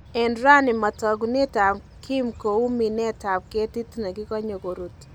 En raani matakunet ab Kim kouu minet ab ketit nekikanye korut